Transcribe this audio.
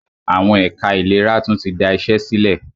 Àwọn ẹ̀ka ìlera tún tí da iṣé sílẹ̀.